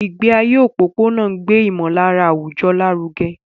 Ìgbé ayé òpópónà ń gbé ìmọ̀lára àwùjọ lárugẹ.